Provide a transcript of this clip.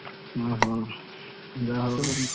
ଓହୋ! ତୁମେ କଣ ଖାଇଲ?